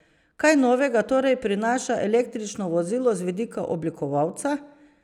Kaj novega torej prinaša električno vozilo z vidika oblikovalca?